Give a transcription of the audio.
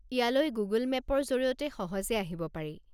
ইয়ালৈ গুগল মে'পৰ জৰিয়তে সহজে আহিব পাৰি।